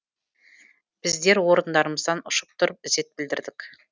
біздер орындарымыздан ұшып тұрып ізет білдірдік